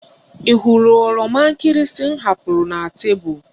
Ị hụrụ oroma nkịrịsị m hapụrụ na tebụl?